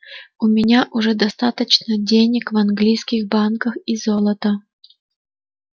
у меня уже достаточно денег в английских банках и золота